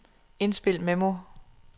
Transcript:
indspil memo